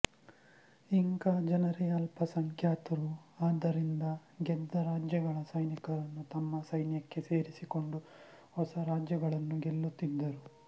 Inca ಜನರೇ ಅಲ್ಪಸಂಖ್ಯಾತರು ಆದ್ದರಿಂದ ಗೆದ್ದರಾಜ್ಯಗಳ ಸೈನಿಕರನ್ನು ತಮ್ಮ ಸೈನ್ಯಕ್ಕೆ ಸೇರಿಸಿಕೊಂಡು ಹೊಸರಾಜ್ಯಗಳನ್ನು ಗೆಲ್ಲುತ್ತಿದ್ದರು